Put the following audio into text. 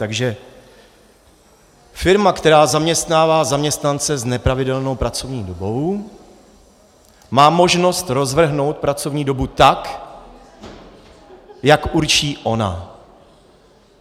Takže firma, která zaměstnává zaměstnance s nepravidelnou pracovní dobou, má možnost rozvrhnout pracovní dobu tak, jak určí ona.